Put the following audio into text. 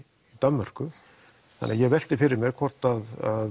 Danmörku ég velti fyrir mér hvort